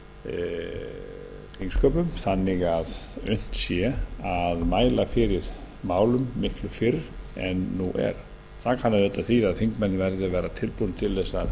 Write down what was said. breyta þingsköpum þannig að unnt sé að mæla fyrir málum miklu fyrr en nú er það kann auðvitað að þýða að þingmenn verði að vera tilbúnir til